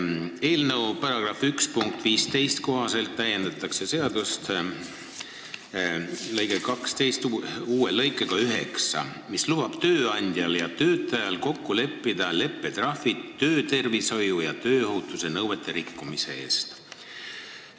Eelnõu § 1 punkti 15 kohaselt täiendatakse seaduse § 12 uue lõikega 9, mis lubab tööandjal ja töötajal kokku leppida leppetrahvi töötervishoiu ja tööohutuse nõuete rikkumise eest.